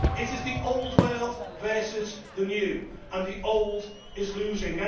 It is the old world versus the new, and the old is losing.